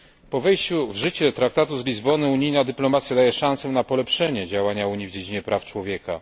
Po wejściu w życie Traktatu z Lizbony unijna dyplomacja daje szansę na polepszenie działania Unii w dziedzinie praw człowieka.